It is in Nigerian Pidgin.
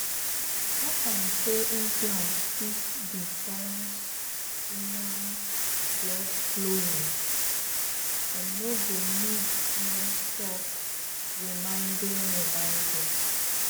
talk am say implants fit disbalance woman blood flowum and no go need non stop reminding reminding